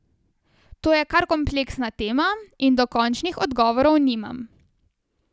To je kar kompleksna tema, in dokončnih odgovorov nimam.